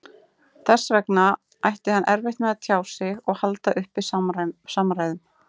Þess vegna ætti hann erfitt með að tjá sig og halda uppi samræðum.